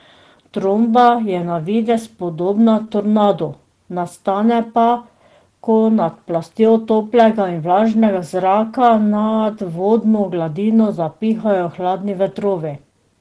Tromba je na videz podobna tornadu, nastane pa, ko nad plastjo toplega in vlažnega zraka nad vodno gladino zapihajo hladni vetrovi.